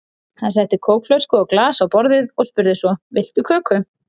Hann setti kókflösku og glas á borðið og spurði svo: Viltu köku?